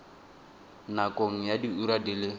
nakong ya diura di le